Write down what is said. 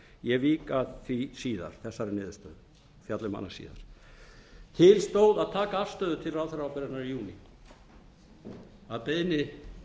ég vík að því síðar þessari niðurstöðu fjalla um hana síðar til stóð að taka afstöðu til ráðherraábyrgðarinnar í júní að beiðni